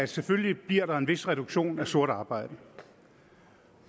selvfølgelig bliver en vis reduktion af sort arbejde